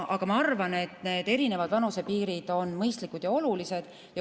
Aga ma arvan, et need erinevad vanusepiirid on mõistlikud ja olulised.